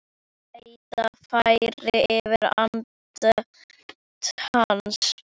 Þreyta færist yfir andlit hans.